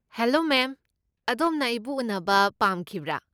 Hello ma'am, ꯑꯗꯣꯝꯅ ꯑꯩꯕꯨ ꯎꯅꯕ ꯄꯥꯝꯈꯤꯕ꯭ꯔꯥ?